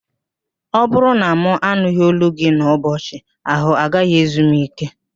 Ọ bụrụ na mụ anụghị ólú gị n'ụbọchị, ahụ gaghị ezu m íké